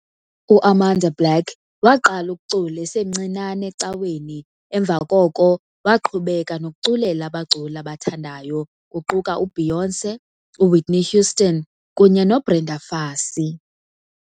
UAmanda Black waqala ukucula esemncinane ecaweni emva koko waqhubeka nokuculela abaculi abathandayo, kuquka uBeyoncé, uWhitney Houston, kunye noBrenda Fassie.